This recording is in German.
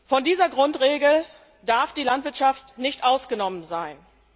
Von dieser Grundregel darf die Landwirtschaft nicht ausgenommen sein.